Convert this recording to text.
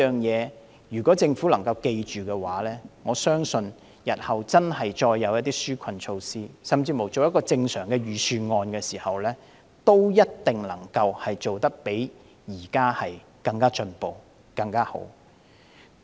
如果政府能夠謹記這3點，我相信日後再推出紓困措施，甚至要編製恆常的預算案時，一定能夠做得較現時更進步及更好。